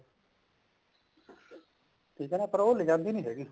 ਠੀਕ ਆ ਨਾ ਉਹ ਪਰ ਲਜਾਉਂਦੀ ਨੀ ਹੈਗੀ